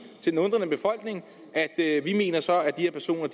til den undrende befolkning vi mener så at de her personer